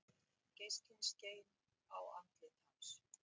Geislinn skein á andlit hans.